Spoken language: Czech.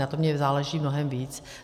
Na tom mně záleží mnohem víc.